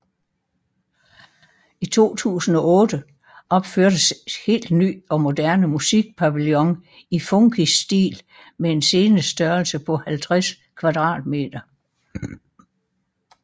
I 2008 opførtes en helt ny og moderne musikpavillion i funkisstil med en scenestørrelse på 50 m2